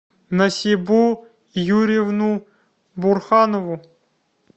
насибу юрьевну бурханову